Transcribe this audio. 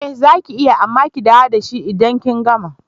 Ee zaki iya amma ki dawo dashi idan kin gama.